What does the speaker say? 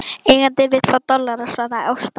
Eigandinn vill fá dollara, svaraði Ásta.